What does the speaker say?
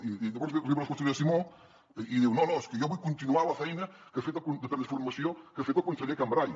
i llavors arriba la consellera simó i diu no no és que jo vull continuar la feina de transformació que ha fet el conseller cambray